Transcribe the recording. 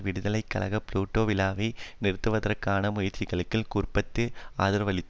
விடுதலை கழகம் புளொட் விழாவை நிறுத்துவதற்கான முயற்சிகளுக்கு குறிப்பறிந்து ஆதரவளித்தன